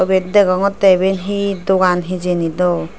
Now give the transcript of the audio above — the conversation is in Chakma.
ebet degongotte ebey he dogan hejani dw.